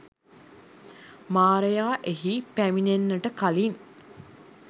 මාරයා එහි පැමිණෙන්නට කලින්